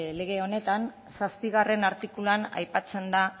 lege honetan zazpigarrena artikuluan aipatzen da